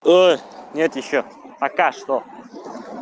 ой нет ещё пока что